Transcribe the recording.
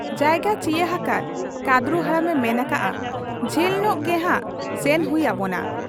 ᱡᱟᱭᱜᱟ ᱪᱤᱭᱟᱹ ᱦᱟᱠᱟᱫ ᱠᱟᱺᱫᱽᱨᱩ ᱦᱟᱲᱟᱢᱮ ᱢᱮᱱ ᱟᱠᱟᱜ ᱟ, 'ᱡᱷᱟᱹᱞᱧᱚᱜ ᱜᱮᱱᱷᱟᱜ ᱥᱮᱱ ᱦᱩᱭ ᱟᱵᱚᱱᱟ ᱾